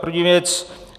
První věc.